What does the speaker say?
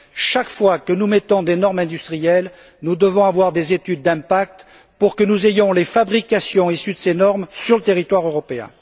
Chaque fois que nous mettons des normes industrielles, nous devons avoir des études d'impact pour que nous ayons les fabrications issues de ces normes sur le territoire européen.